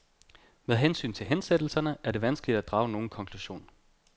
Med hensyn til hensættelserne er det vanskeligt at drage nogen konklusion.